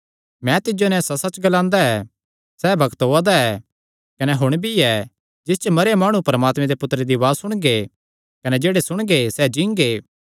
मैं तिज्जो नैं सच्चसच्च ग्लांदा ऐ सैह़ बग्त ओआ दा ऐ कने हुण भी ऐ जिस च मरेयो माणु परमात्मे दे पुत्तरे दी उआज़ा सुणगे कने जेह्ड़े सुणगे सैह़ जींगे